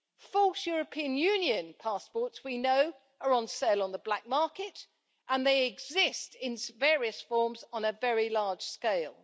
False European Union passports, we know, are on sale on the black market and they exist in various forms on a very large scale.